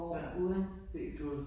Ja. Helt ude